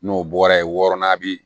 N'o bɔra ye wɔɔrɔnan bi